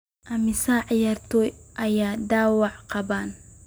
Immisa ciyaartoy ayaa dhaawacyo qaban?